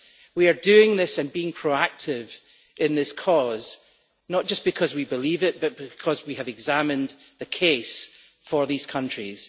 We are doing this and being proactive in this cause, not just because we believe it, but because we have examined the case for these countries.